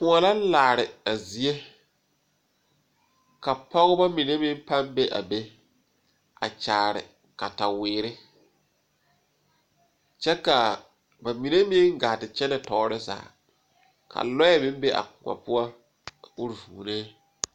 Koɔ la laare a zie ka pɔgeba mine meŋ pãâ be a be a kyaare kataweere kyɛ ka ba mine meŋ gaa te kyɛnɛ tɔɔre zaa ka lɔɛ meŋ be a koɔ poɔ a uri vuunee.